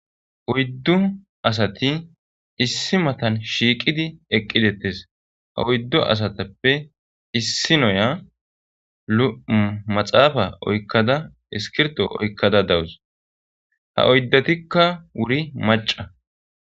oyddu asati issi matan shiiqidi eqqidettes ha oyddu asatappe issi noya 7maxaafa oykkada iskirto oykkada dawus ha oyddetikka wuri maca